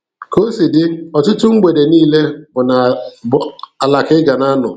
Ka o si dị, ọtụtụ mgbede niile bụ ala ka ị ga na-anọ.